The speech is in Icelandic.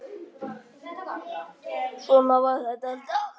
Svona var þetta alltaf.